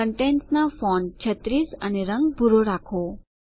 કન્ટેનટ્સના font 36 અને રંગ ભૂરો રાખો